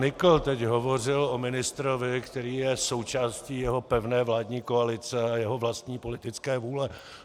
Nykl teď hovořil o ministrovi, který je součástí jeho pevné vládní koalice a jeho vlastní politické vůle.